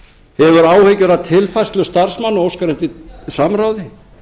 hefur áhyggjur af tilfærslu starfsmanna og óskar eftir samráði